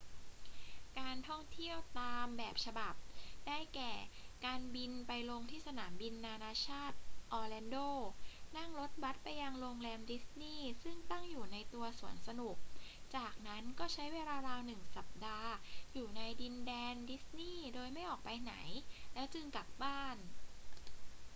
การท่องเที่ยวตาม แบบฉบับ ได้แก่ การบินไปลงที่สนามบินนานาชาติออร์แลนโด นั่งรถบัสไปยังโรงแรมดิสนีย์ซึ่งตั้งอยู่ในตัวสวนสนุก จากนั้นก็ใช้เวลาราวหนึ่งสัปดาห์อยู่ในดินแดนดิสนีย์โดยไม่ออกไปไหน แล้วจึงกลับบ้าน